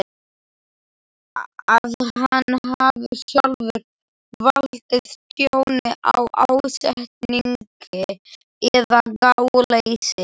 að hann hafi sjálfur valdið tjóni af ásetningi eða gáleysi.